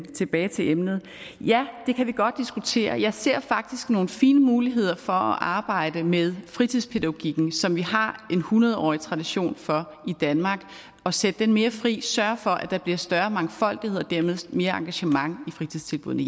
tilbage til emnet ja det kan vi godt diskutere jeg ser faktisk nogle fine muligheder for at arbejde med fritidspædagogikken som vi har en hundrede årig tradition for i danmark og sætte den mere fri sørge for at der bliver større mangfoldighed og dermed mere engagement i fritidstilbuddene